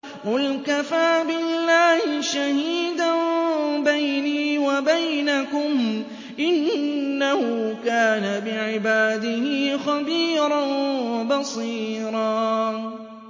قُلْ كَفَىٰ بِاللَّهِ شَهِيدًا بَيْنِي وَبَيْنَكُمْ ۚ إِنَّهُ كَانَ بِعِبَادِهِ خَبِيرًا بَصِيرًا